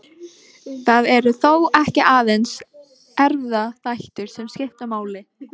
Það eru þó ekki aðeins erfðaþættir sem skipta máli.